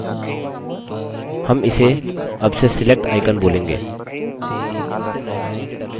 हम इसे अब से select icon बोलेंगे